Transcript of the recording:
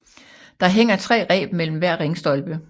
Der hænger tre reb mellem hver ringstolpe